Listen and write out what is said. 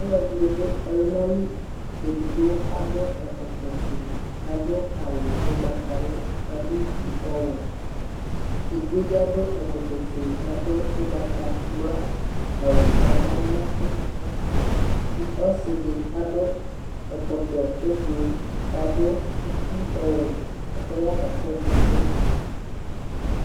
Alʋ ɛdɩnɩ dʋ ɔlʋna li, edigbo adʋ ɛkɔtɔ ofue, kʋ adʋ awʋ ʋgbatawla, kʋ adʋ uti ɔwɛ, edigbo bɩ adʋ ɛkɔtɔ fue, kʋ adʋ ʋgbatawla awʋ kʋ adʋ aɣla nʋ akpo, ɔsɩ dɩ adʋ ɛkɔtɔ ʋblʋ, kʋ adʋ uti ɔwɛ, kʋ ɔya kakɔsʋ ɛsɛ